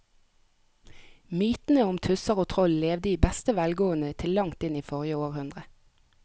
Mytene om tusser og troll levde i beste velgående til langt inn i forrige århundre.